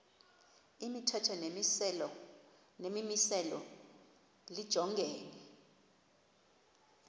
imithetho nemimiselo lijongene